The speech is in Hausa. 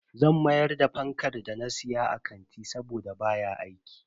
Zan mayar da fankar da na siya a kanti saboda baya aiki.